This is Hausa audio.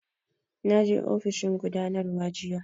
Na je ofishin gudanarwa jiya